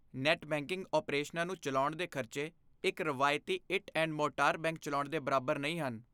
net banking ਓਪਰੇਸ਼ਨਾਂ ਨੂੰ ਚਲਾਉਣ ਦੇ ਖ਼ਰਚੇ ਇੱਕ ਰਵਾਇਤੀ ਇੱਟ ਐਂਡ ਮੋਰਟਾਰ ਬੈਂਕ ਚਲਾਉਣ ਦੇ ਬਰਾਬਰ ਨਹੀਂ ਹਨ